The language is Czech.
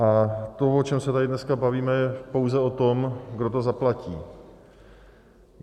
A to, o čem se tady dneska bavíme, je pouze o tom, kdo to zaplatí.